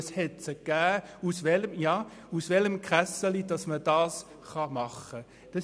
Ja, es hat sie gegeben, es ging darum, aus welcher Kasse das bezahlt werden soll.